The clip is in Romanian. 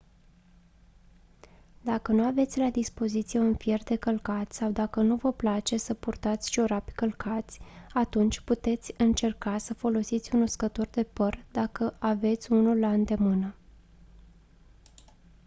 dacă nu aveți la dispoziție un fier de călcat sau dacă nu vă place să purtați ciorapi călcați atunci puteți încerca să folosiți un uscător de păr dacă aveți unul la îndemână